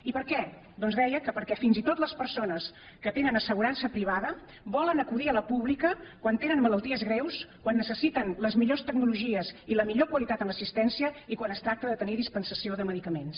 i per què doncs deia que perquè fins i tot les persones que tenen assegurança privada volen acudir a la pública quan tenen malalties greus quan necessiten les millors tecnologies i la millor qualitat en l’assistència i quan es tracta de tenir dispensació de medicaments